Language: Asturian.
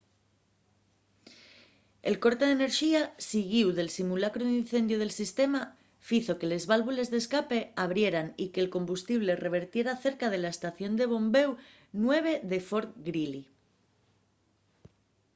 el corte d'enerxía siguíu del simulacru d'incendiu del sistema fizo que les válvules d'escape abrieran y que'l combustible revertiera cerca de la estación de bombéu 9 de fort greely